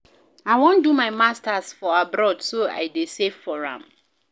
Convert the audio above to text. I wan do my Masters for abroad so I dey save for am